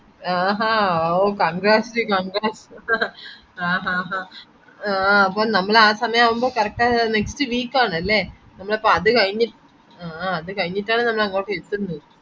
ആഹാ ഓ congrats congrats ആഹ് ആഹ് ആഹ് ആ നമ്മളപ്പോ ആ സമയാവുമ്പോ കറക് ആ next week ആണല്ലെ നമ്മളപ്പോ ആ നമ്മളപ്പോ അത്കഴിഞ്ഞിട്ടാണ് നമ്മളങ്ങോട്ട് എത്തുന്നത്